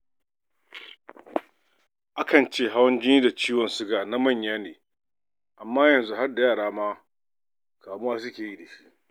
Akan ce hawan ji da ciwon siga na manya amma yanzu har da yara ma kamuwa suke yi.